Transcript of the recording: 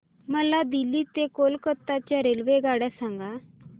मला दिल्ली ते कोलकता च्या रेल्वेगाड्या सांगा